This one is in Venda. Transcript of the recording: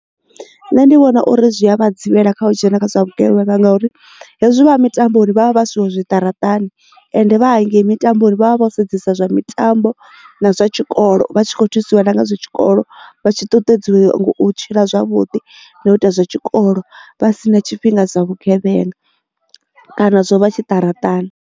Nṋe ndi vhona uri zwia vha dzivhele kha u dzhena kha zwa vhugevhenga ngauri hezwi vha mitambo vha vha vhasiwe zwiṱaraṱani ende vha hangei mitambo ri vha vha vho sedzesa zwa mitambo na zwa zwikolo vha tshi kho thusiwa na ngazwo tshikolo vha tshi ṱuṱuwedziwe u tshila zwavhuḓi na u ita zwa tshikolo vha si na tshifhinga dza vhugevhenga kana zwo vha tshiṱaratani.